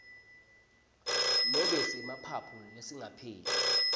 nobe semaphaphu lesingapheli